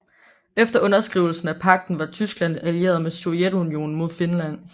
Efter underskrivelsen af pagten var Tyskland allieret med Sovjetunionen mod Finland